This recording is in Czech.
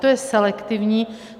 To je selektivní.